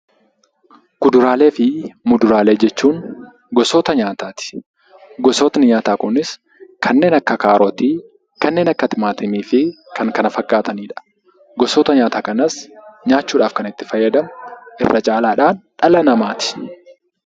Kuduraalee fi muduraalee jechuun gosoota nyaataati. Gosoonni nyaataa kunis kanneen akka kaarotii, timaatimii fi kan kana fakkaatanidha. Gosoota nyaataa kanas nyaachuudhaaf kan itti fayyadamu irra caalaatti dhala namaati.